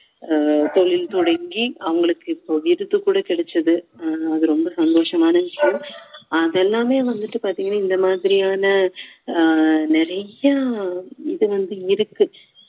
ஆஹ் தொழில் தொடங்கி அவங்களுக்கு இப்போ விருது கூட கிடைச்சது அது ரொம்ப சந்தோஷமான விஷயம் அதெல்லாமே வந்துட்டு பார்த்தீங்கன்னா இந்த மாதிரியான ஆஹ் நிறையா இது வந்து இருக்கு